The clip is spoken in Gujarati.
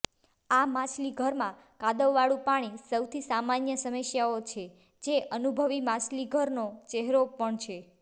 આ માછલીઘરમાં કાદવવાળું પાણી સૌથી સામાન્ય સમસ્યાઓ છે જે અનુભવી માછલીઘરનો ચહેરો પણ છે